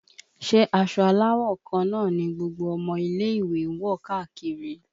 Ṣé aṣọ aláwọ̀ kan náà ni gbogbo ọmọ ilé ìwé ń wọ káàkiri?